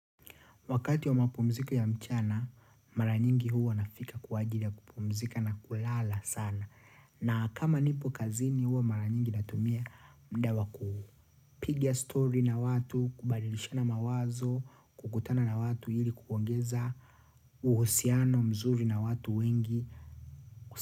Wakati wa mapumziko ya mchana, maranyingi huwa nafika kwa ajili ya kupumzika na kulala sana. Na kama nipo kazini huwa mara nyingi natumia muda wakupiga story na watu, kubadilishana mawazo, kukutana na watu ili kuongeza, uhusiano mzuri na watu wengi.